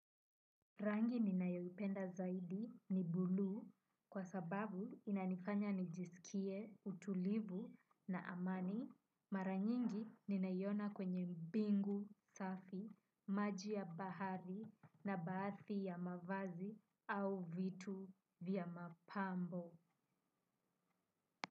Rangi ni nayoipenda zaidi ni bulu kwa sababu inanifanya nijiskie utulivu na amani maranyingi nina iona kwenye bungu safi maji ya bahari na baadhi ya mavazi au vitu vya mapambo.